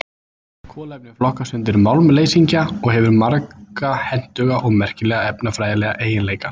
Kolefni flokkast undir málmleysingja og hefur marga hentuga og merkilega efnafræðilega eiginleika.